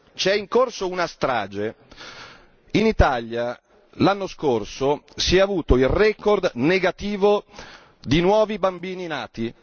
C'è in corso una strage in Italia l'anno scorso si è avuto il record negativo di nuovi bambini nati.